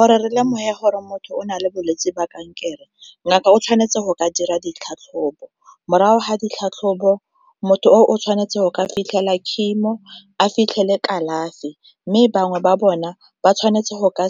Gore re lemoga gore motho o nale bolwetsi ba kankere ngaka o tshwanetse go ka dira ditlhatlhobo, morago ga ditlhatlhobo motho o o tshwanetse o ka fitlhela chemo, a fitlhele kalafi. Mme bangwe ba bona ba tshwanetse go ka